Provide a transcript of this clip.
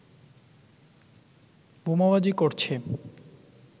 বোমাবাজি করছে